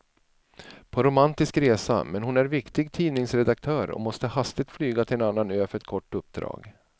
På romantisk resa, men hon är viktig tidningsredaktör och måste hastigt flyga till en annan ö för ett kort uppdrag.